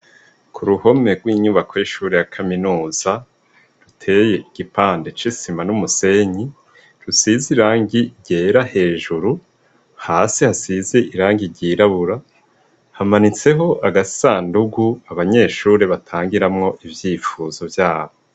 Kuruhomwe rw'inyubako y'ishure ya kaminuza iteye igipande c'isima n'umusenyi rusiz'irangi ryera hejuru , hasi hasize irangi ryirabura, hamanitseho agasandugu abanyeshure bangiramwo ivyipfuzo vyabo.